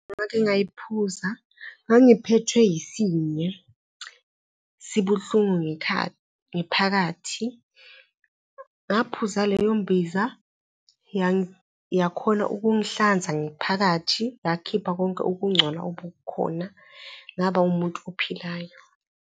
Ngake ngayiphuza, ngangiphethwe yisinye sibuhlungu ngephakathi. Ngaphuza leyo mbiza, yakhona ukungihlanza ngephakathi, yakhipha konke ukungcola obukhona, ngaba umuntu ophilayo.